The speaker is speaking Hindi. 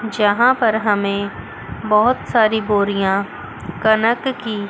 यहां पर हमें बहुत सारी बोरियां कनक की--